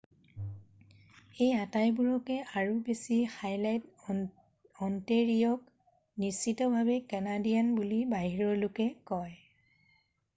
এই আটাইবোৰকে আৰু বেছি হাইলাইট অণ্টেৰিঅ'ক নিশ্চিতভাৱেই কানাডিয়ান বুলি বাহিৰৰ লোকে কয়